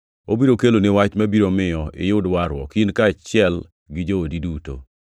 Obiro keloni wach mabiro miyo iyud warruok, in kaachiel gi joodi duto.’